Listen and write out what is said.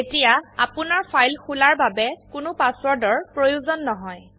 এতিয়া আপোনাৰ ফাইল খোলাৰ বাবে কোনো পাসওয়াৰ্ড এৰ প্ৰয়োজন নহয়